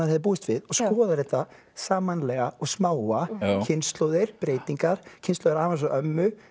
hefði búist við og skoðar þetta sammannlega og smáa kynslóðir breytingar kynslóð afa hans og ömmu